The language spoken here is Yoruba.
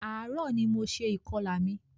Ààrò ní mo ṣe ìkọlà mi.